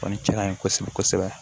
Kɔni cɛn na n ye kosɛbɛ kosɛbɛ